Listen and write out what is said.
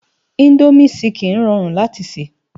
Indómi ṣìkín ròrún láti sè